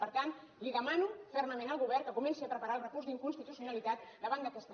per tant li demano fermament al govern que comenci a preparar el recurs d’inconstitucionalitat davant d’aquesta llei